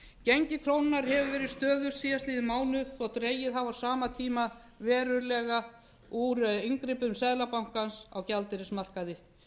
gengi krónunnar hefur verið stöðugt síðasta mánuðinn þótt dregið hafi á sama tíma verulega úr inngripum seðlabankans á gjaldeyrismarkaði